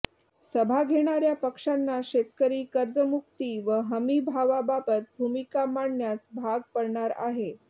सभा घेणार्या पक्षांना शेतकरी कर्जमुक्ती व हमीभावाबाबत भूमिका मांडण्यास भाग पडणार आहे